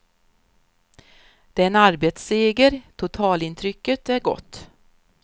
Det är en arbetsseger, totalintrycket är gott.